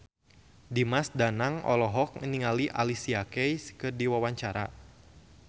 Dimas Danang olohok ningali Alicia Keys keur diwawancara